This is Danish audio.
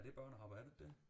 Er det børnehave er det ikke det